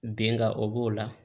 Bin ka o b'o la